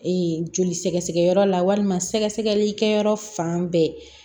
joli sɛgɛ sɛgɛ yɔrɔ la walima sɛgɛsɛgɛlikɛyɔrɔ fan bɛɛ